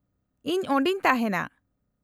-ᱤᱧ ᱚᱸᱰᱮᱧ ᱛᱟᱦᱮᱸᱱᱟ ᱾